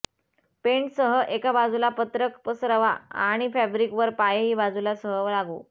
paint सह एका बाजूला पत्रक पसरवा आणि फॅब्रिक वर पायही बाजूला सह लागू